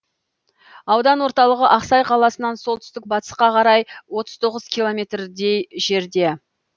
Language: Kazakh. аудан орталығы ақсай қаласынан солтүстік батысқа қарай отыз тоғыз километрдей жерде